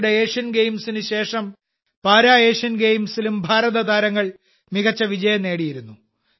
അടുത്തിടെ ഏഷ്യൻ ഗെയിംസിനുശേഷം para Asian ഗെയിംസിലും ഭാരത താരങ്ങൾ മികച്ച വിജയം നേടിയിരുന്നു